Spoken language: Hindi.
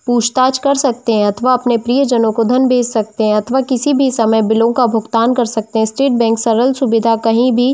पूछ -ताच कर सकते हैं अथवा अपने प्रिय जनों को धन भेज सकते हैं अथवा किसी भी समय बिलों का भुगतान कर सकते है स्टेट बैंक सरल सुविधा कहीं भी--